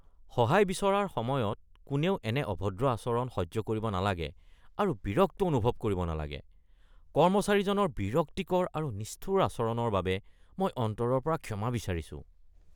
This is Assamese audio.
সহায় বিচৰাৰ সময়ত কোনেও এনে অভদ্ৰ আচৰণ সহ্য কৰিব নালাগে আৰু বিৰক্ত অনুভৱ কৰিব নালাগে। কৰ্মচাৰীজনৰ বিৰক্তিকৰ আৰু নিষ্ঠুৰ আচৰণৰ বাবে মই অন্তৰৰ পৰা ক্ষমা বিচাৰিছোঁ।